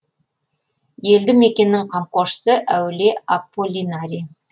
елді мекеннің қамқоршысы әулие аполлинарий